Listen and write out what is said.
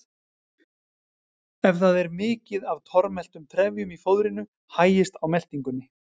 Ef það er mikið af tormeltum trefjum í fóðrinu hægist á meltingunni.